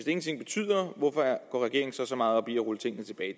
ingenting betyder hvorfor går regeringen så så meget op i at rulle tingene tilbage